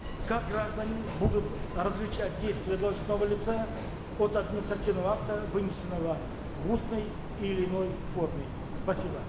как граждане будут различать действия должностного лица от административного акта вынесенного в устной или иной форме спасибо